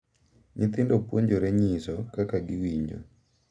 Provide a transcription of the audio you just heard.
Nyithindo puonjore nyiso kaka giwinjo